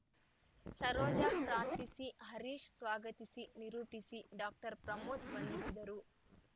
ಸರೋಜ ಪ್ರಾರ್ಥಿಸಿ ಹರೀಶ್‌ ಸ್ವಾಗತಿಸಿ ನಿರೂಪಿಸಿ ಡಾಕ್ಟರ್ ಪ್ರಮೋದ್‌ ವಂದಿಸಿದರು